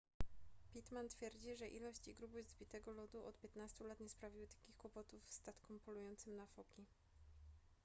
pittman twierdzi że ilość i grubość zbitego lodu od 15 lat nie sprawiły takich kłopotów statkom polującym na foki